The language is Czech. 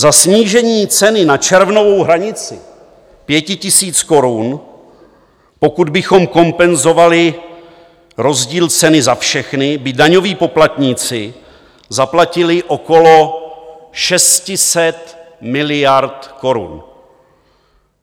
Za snížení ceny na červnovou hranici 5 000 korun, pokud bychom kompenzovali rozdíl ceny za všechny, by daňoví poplatníci zaplatili okolo 600 miliard korun.